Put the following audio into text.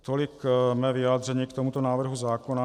Tolik mé vyjádření k tomuto návrhu zákona.